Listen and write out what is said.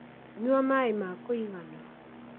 nyua maĩ ma kũigana